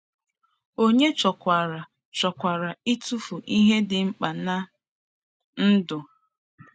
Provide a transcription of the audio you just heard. Ònye chọkwaranụ chọkwaranụ ịtụfu ihe dị mkpa ná ndụ?